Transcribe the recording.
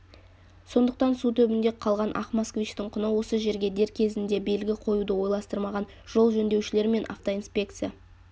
сондықтан су түбінде қалған ақ москвичтің құны осы жерге дер кезінде белгі қоюды ойластырмаған жол жөндеушілер мен автоинспекция